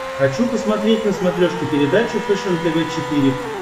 хочу посмотреть на смотрешке передачу фэшен тв четыре к